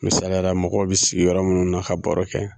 Misaliyala mɔgɔw bɛ sigi yɔrɔ minnu na ka baro kɛ